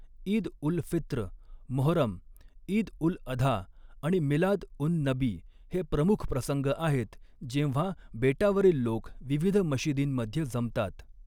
ईद उल फित्र, मोहरम, ईद उल अधा आणि मिलाद उन नबी हे प्रमुख प्रसंग आहेत जेव्हा बेटावरील लोक विविध मशिदींमध्ये जमतात.